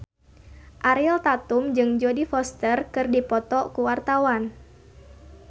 Ariel Tatum jeung Jodie Foster keur dipoto ku wartawan